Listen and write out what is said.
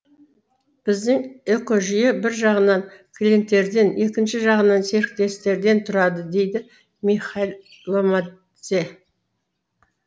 біздің экожүйе бір жағынан клиенттерден екінші жағынан серіктестерден тұрады дейді михаил ломтадзе